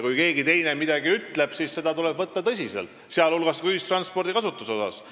Kui keegi teine midagi ütleb, siis tuleb seda võtta tõsiselt, sh ühistranspordi kasutuse koha pealt.